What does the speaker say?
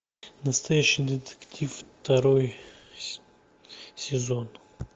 настоящий детектив второй сезон